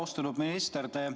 Austatud minister!